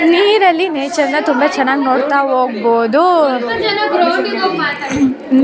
ನೀರಲ್ಲಿ ನೇಚರನ ತುಂಬಾ ಚೆನ್ನಾಗ್ ನೋಡ್ತಾ ಹೋಗ್ಬೋದು.